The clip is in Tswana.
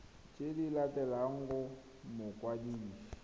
tse di latelang go mokwadisi